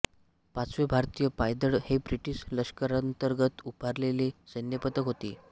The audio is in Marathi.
पाचवे भारतीय पायदळ हे ब्रिटिश लष्करांतर्गत उभारलेले सैन्यपथक होते